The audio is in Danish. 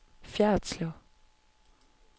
Fjerritslev